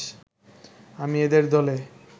আমি এদের দলে